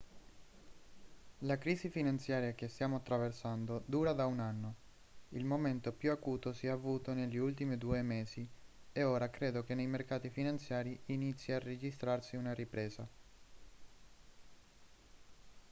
la crisi finanziaria che stiamo attraversando dura da un anno il momento più acuto si è avuto negli ultimi due mesi e ora credo che nei mercati finanziari inizi a registrarsi una ripresa